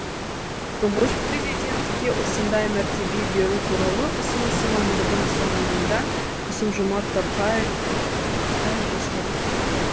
тұңғыш президентке осындай мәртебе беру туралы ұсынысы мамырдың соңында қасым жомарт тоқаев жасаған